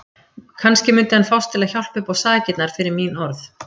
Kannski mundi hann fást til að hjálpa uppá sakirnar fyrir mín orð.